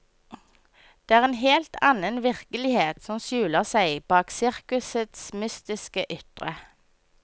Det er en helt annen virkelighet som skjuler seg bak sirkusets mystiske ytre.